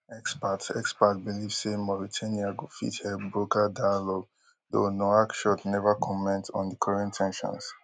experts experts believe say mauritania go fit help broker dialogue though nouakchott neva comment on di current ten sions